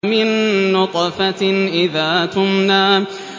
مِن نُّطْفَةٍ إِذَا تُمْنَىٰ